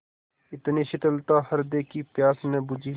इतनी शीतलता हृदय की प्यास न बुझी